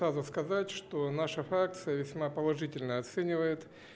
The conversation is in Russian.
сразу сказать что наша фракция весьма положительно оценивает